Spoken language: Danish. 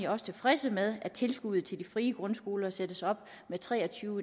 også tilfredse med at tilskuddet til de frie grundskoler sættes op med tre og tyve